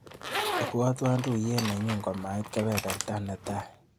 Ibwatwa tuiyet nenyu komait kebeberta netai.